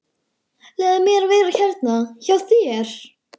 Leyfðu mér að vera hérna hjá þér.